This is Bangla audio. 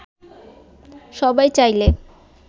সবাই চাইলে